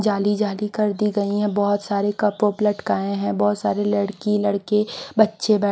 जाली जाली कर दी गई है बहुत सारे कपड़ों लटकाए हैं बहुत सारे लड़की लड़के बच्चे बै--